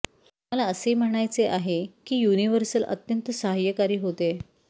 मला असे म्हणायचे आहे की युनिव्हर्सल अत्यंत सहाय्यकारी होते